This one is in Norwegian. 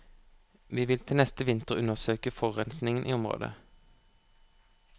Vi vil til neste vinter undersøke forurensingen i området.